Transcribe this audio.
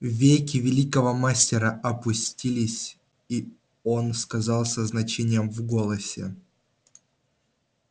веки великого мастера опустились и он сказал со значением в голосе